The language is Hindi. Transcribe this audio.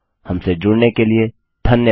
हमसे जुड़ने के लिए धन्यवाद